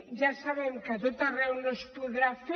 ja sabem que a tot arreu no es podrà fer